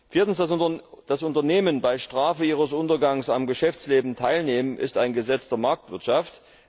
Viertens Dass Unternehmen bei Strafe ihres Untergangs am Geschäftsleben teilnehmen, ist ein Gesetz der Marktwirtschaft.